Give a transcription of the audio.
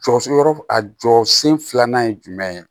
Jɔsen yɔrɔ a jɔsen filanan ye jumɛn ye